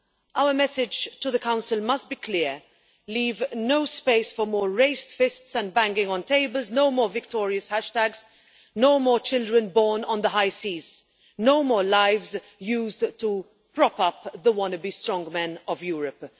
Our message to the Council must be clear leave no space for more raised fists and banging on tables, no more victorious hashtags, no more children born on the high seas, no more lives used to prop up the wannabe strongmen of Europe.